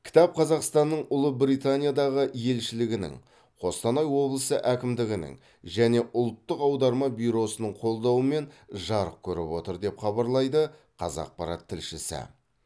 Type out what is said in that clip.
кітап қазақстанның ұлыбританиядағы елшілігінің қостанай облысы әкімдігінің және ұлттық аударма бюросының қолдауымен жарық көріп отыр деп хабарлайды қазақпарат тілшісі